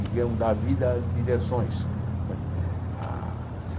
digamos, da vida de diversões né. Ah